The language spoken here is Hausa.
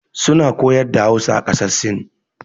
Su na koyar da Hausa a ƙasar sin.